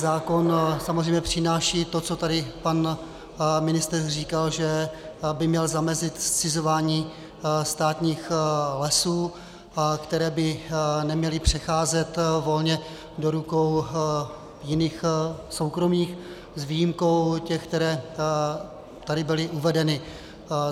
Zákon samozřejmě přináší to, co tady pan ministr říkal, že by měl zamezit zcizování státních lesů, které by neměly přecházet volně do rukou jiných, soukromých, s výjimkou těch, které tady byly uvedeny.